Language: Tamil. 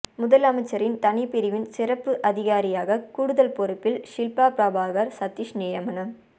முதலமைச்சரின் தனிப்பிரிவின் சிறப்பு அதிகாரியாக கூடுதல் பொறுப்பில் ஷில்பா பிரபாகர் சதீஷ் நியமனம்